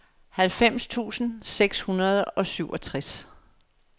halvfems tusind seks hundrede og syvogtres